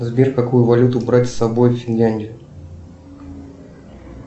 сбер какую валюту брать с собой в финляндию